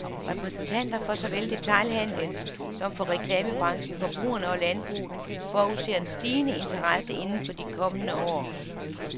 Repræsentanter for såvel detailhandelen som for reklamebranchen, forbrugerne og landbruget forudser en stigende interesse inden for de kommende år.